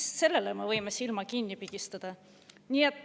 Miks selle puhul me võime silma kinni pigistada?